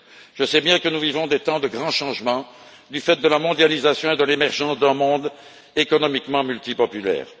Je sais bien que nous vivons des temps de grands changements du fait de la mondialisation et de l'émergence d'un monde économiquement multipolaire.